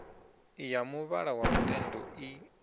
ya muvhala wa lutendo i